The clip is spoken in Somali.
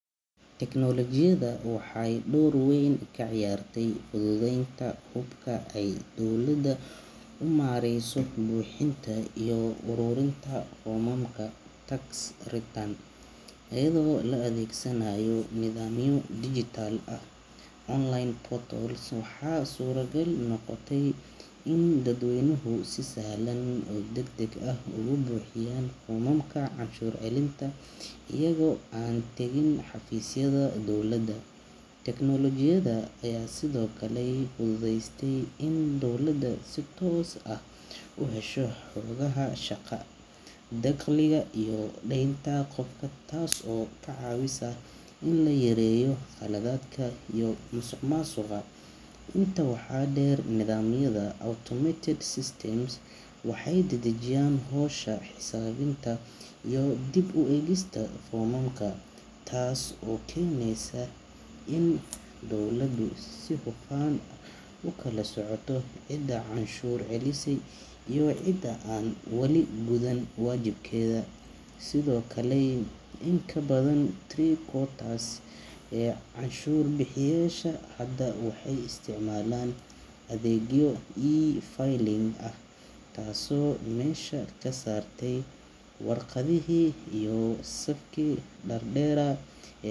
Tignoolajiyaddu waxay door weyn ka ciyaartay fududeynta habka ay dowladda u maareyso buuxinta iyo ururinta foomamka tax return. Iyadoo la adeegsanayo nidaamyo dijitaal ah sida online portals, waxaa suuragal noqotay in dadweynuhu si sahlan oo degdeg ah uga buuxiyaan foomamka canshuur celinta iyaga oo aan tegin xafiisyada dowladda. Teknolojiyadda ayaa sidoo kale fududeysay in dowladda si toos ah u hesho xogaha shaqo, dakhliga iyo deynta ee qofka, taas oo ka caawisa in la yareeyo khaladaadka iyo musuqmaasuqa. Intaa waxaa dheer, nidaamyada automated systems waxay dedejiyaan hawsha xisaabinta iyo dib u eegista foomamka, taas oo keenaysa in dowladda si hufan u kala socoto cidda canshuur celisay iyo cidda aan wali gudan waajibkeeda. Sidoo kale, in ka badan three quarters ee canshuur bixiyeyaasha hadda waxay isticmaalaan adeegyo e-filing ah, taasoo meesha ka saartay warqadihii iyo safkii dhaadheeraa ee.